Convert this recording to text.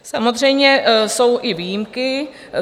Samozřejmě jsou i výjimky.